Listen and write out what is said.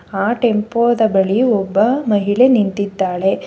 ಆ ಟೆಂಪೋದ ಬಳಿ ಒಬ್ಬ ಮಹಿಳೆ ನಿಂತಿದ್ದಾಳೆ.